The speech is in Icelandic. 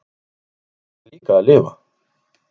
En ég verð líka að lifa.